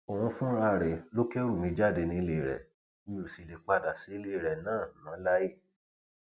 òun fúnra rẹ ló kẹrù mi jáde nílé rẹ mi ò sì lè padà sílé náà mọ láé